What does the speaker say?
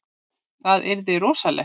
Það yrði rosalegt.